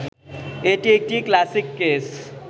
এটি একটি classic case